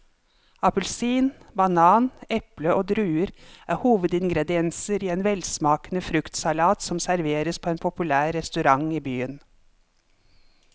Appelsin, banan, eple og druer er hovedingredienser i en velsmakende fruktsalat som serveres på en populær restaurant i byen.